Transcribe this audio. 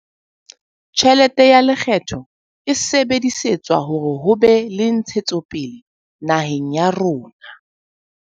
Tjhelete ya lekgetho e sebedisetswa hore ho be le ntshetsopele naheng ya rona.